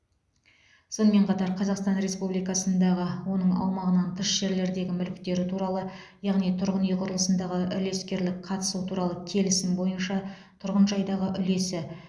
сонымен қатар қазақстан республикасындағы және оның аумағынан тыс жерлердегі мүліктері туралы яғни тұрғын үй құрылысындағы үлескерлік қатысу туралы келісім бойынша тұрғын жайдағы үлесі